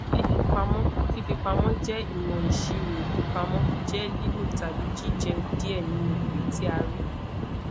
fifipamo fifipamọ jẹ imo isiro ifipamọ jẹ lilo tabi jije die ninu ere ti a ri